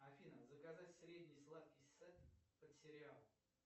афина заказать средний сладкий сет под сериал